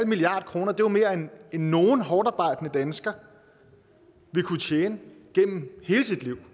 milliard kroner er jo mere end nogen hårdtarbejdende dansker vil kunne tjene gennem hele sit liv